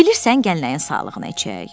Bilirsən gəl nəyin sağlıqına içək?